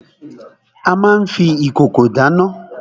A má n fi ìkòkò dáná.